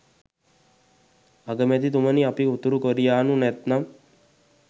අගමැතිතුමනි අපි උතුරු කොරියානු නැතිනම්